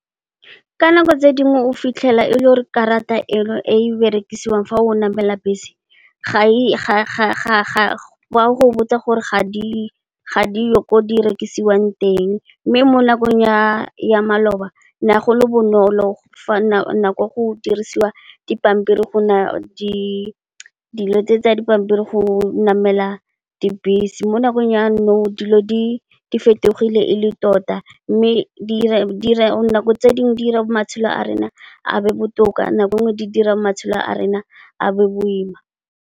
Ka nako tse dingwe o fitlhela e le gore karata eno e berekisiwang fa o namela bese ba go botsa gore ga diyo ko di rekisiwang teng mme, mo nakong ya maloba ne go le bonolo fa nako e ne go dirisiwa dipampiri go namela dibese mo nakong ya nou dilo di fetogile e le tota mme, di nako tse dingwe di dira matshelo a rona a be botoka, nako nngwe di dira matshelo a rona a be boima.